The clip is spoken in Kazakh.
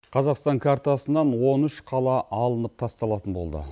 қазақстан картасынан он үш қала алынып тасталатын болды